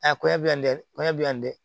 A koɲɛ bi n dɛ koɲɛ bi yan n dɛ